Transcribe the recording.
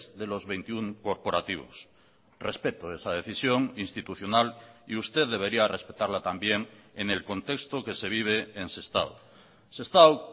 de los veintiuno corporativos respeto esa decisión institucional y usted debería respetarla también en el contexto que se vive en sestao sestao